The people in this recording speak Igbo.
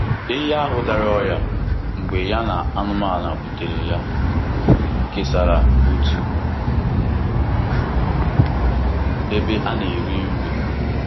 Ehi ahụ dara ọrịa mgbe ya na anụmanụ butere ya kesara otu ebe a na-eri nri.